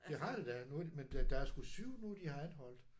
Det har det da nu har de men der der er sgu 7 nu de har anholdt